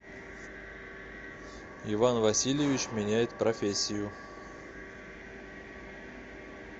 иван васильевич меняет профессию